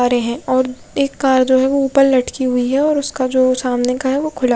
आ रहे है और कार जो है ओ ऊपर लटक हुयी है और उसका जो सामने का है ओ खुला --